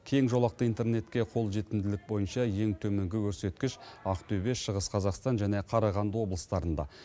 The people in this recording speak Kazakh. кең жолақты интернетке қолжетімділік бойынша ең төменгі көрсеткіш ақтөбе шығыс қазақстан және қарағанды облыстарында